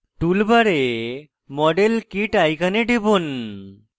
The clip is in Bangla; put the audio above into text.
tool bar model kit icon টিপুন